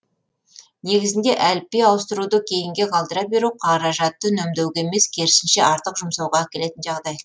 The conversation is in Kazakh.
негізінде әліпби ауыстыруды кейінге қалдыра беру қаражатты үнемдеуге емес керісінше артық жұмсауға әкелетін жағдай